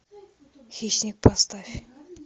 хищник поставь